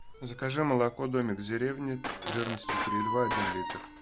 закажи молоко домик в деревне жирностью три и два один литр